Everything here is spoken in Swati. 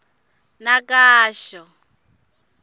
nakasho